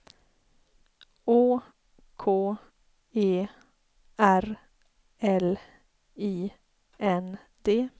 Å K E R L I N D